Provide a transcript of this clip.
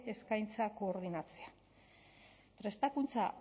eskaintza koordinatzea prestakuntza